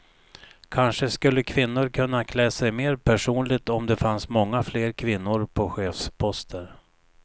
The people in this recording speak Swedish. Kanske skulle kvinnor kunna klä sig mer personligt om det fanns många fler kvinnor på chefsposter.